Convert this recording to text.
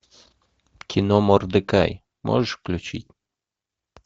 кино мордекай можешь включить